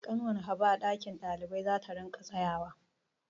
Ƙanwar Habu a ɗakin ɗalibai za ta riƙa tsayawa.